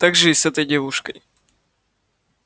так же и с этой девушкой